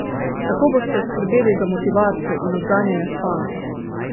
Kako boste skrbeli za motivacijo in odganjanje spanca?